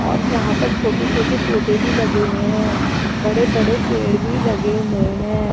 और यहां पर छोटे-छोटे पौधे भी लगे हुए हैं बड़े-बड़े पेड़ भी लगे हुए हैं।